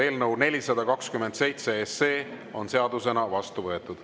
Eelnõu 427 on seadusena vastu võetud.